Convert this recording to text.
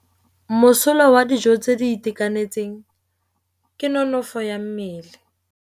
Mosola wa dijô tse di itekanetseng ke nonôfô ya mmele.